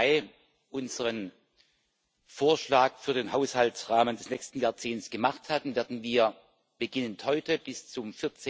2. Mai unseren Vorschlag für den Haushaltsrahmen des nächsten Jahrzehnts gemacht hatten, werden wir beginnend heute bis zum